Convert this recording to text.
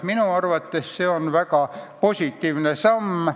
Minu arvates see on väga positiivne samm.